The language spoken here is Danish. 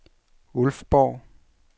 Ulfborg